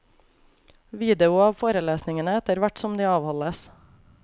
Video av forelesningene etterhvert som de avholdes.